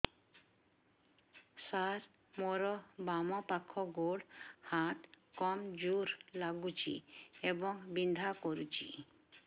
ସାର ମୋର ବାମ ପାଖ ଗୋଡ ହାତ କମଜୁର ଲାଗୁଛି ଏବଂ ବିନ୍ଧା କରୁଛି